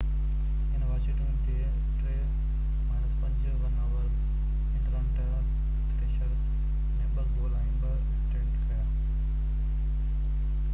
هن واشنگٽن جي 5-3 won over Atlanta Thrashers ۾ 2 goal ۽ 2 assistant ڪيا